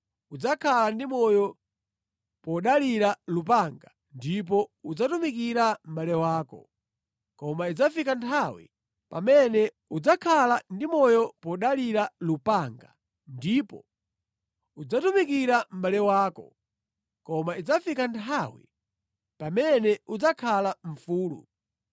Udzakhala ndi moyo podalira lupanga ndipo udzatumikira mʼbale wako. Koma idzafika nthawi pamene udzakhala mfulu udzachotsa goli lake mʼkhosi mwako.”